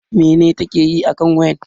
Mene ta ke yi akan wayan?